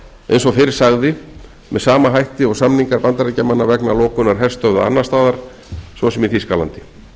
eins og fyrr sagði með sama hætti og samningar bandaríkjamanna vegna lokunar herstöðva annarsstaðar svo sem í þýskalandi